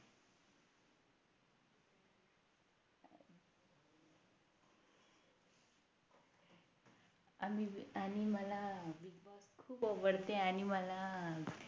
आणि मला Big boss खूप आवडते आणि मला